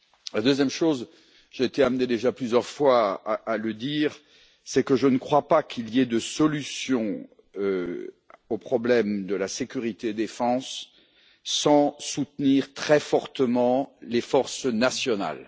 La deuxième chose j'ai été amené déjà plusieurs fois à le dire c'est que je ne crois pas qu'il y ait de solution au problème de la sécurité et de la défense sans soutenir très fortement les forces nationales.